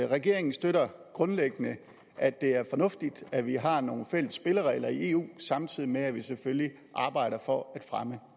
regeringen støtter grundlæggende at det er fornuftigt at vi har nogle fælles spilleregler i eu samtidig med at vi selvfølgelig arbejder for at fremme